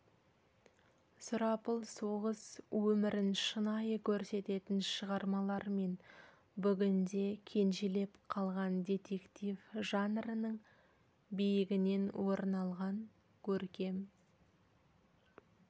сұрапыл соғыс өмірін шынайы көрсететін шығармалар мен бүгінде кенжелеп қалған детектив жанрының биігінен орын алған көркем